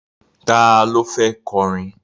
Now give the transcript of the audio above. Ta ló fẹ́ kọrin?